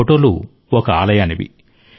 ఈ ఫోటోలు ఒక ఆలయానివి